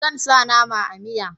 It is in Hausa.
Zan sa nama a miya